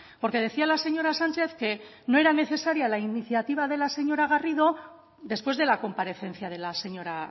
porque decía la señora sánchez que no era necesaria la iniciativa de la señora garrido después de la comparecencia de la señora